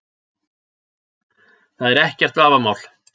Það er ekkert vafamál